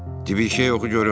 De bir şey oxu görüm.